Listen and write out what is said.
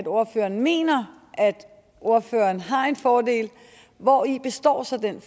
ordføreren mener at ordføreren har en fordel hvori består så den